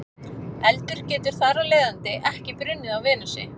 Eldur getur þar af leiðandi ekki brunnið á Venusi.